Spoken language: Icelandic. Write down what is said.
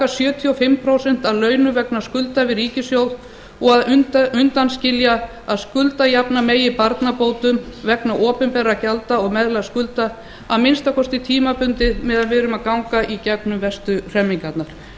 sjötíu og fimm prósent af launum vegna skulda við ríkissjóð og undanskilja að skuldajafna megi barnabótum vegna opinberra gjalda og meðlagsskulda að minnsta kosti tímabundið meðan við erum að ganga gegnum mestu hremmingarnar